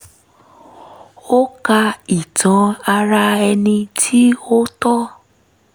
ó ka ìtàn ara ẹni kí ó tó